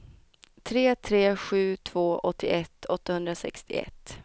tre tre sju två åttioett åttahundrasextioett